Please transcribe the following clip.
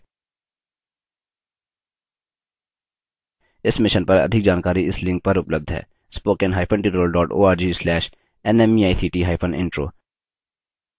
इस mission पर अधिक जानकारी इस लिंक पर उपलब्ध है spoken hyphen tutorial dot org slash nmeict hyphen intro